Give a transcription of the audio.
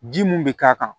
Ji mun be k'a kan